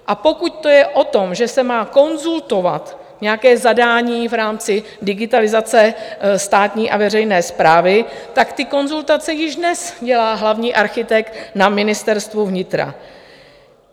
A pokud to je o tom, že se má konzultovat nějaké zadání v rámci digitalizace státní a veřejné správy, tak ty konzultace již dnes dělá hlavní architekt na Ministerstvu vnitra.